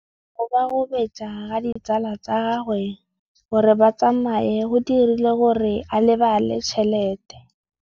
Go gobagobetsa ga ditsala tsa gagwe, gore ba tsamaye go dirile gore a lebale tšhelete.